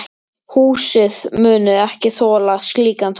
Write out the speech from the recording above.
Húsið muni ekki þola slíkan þunga.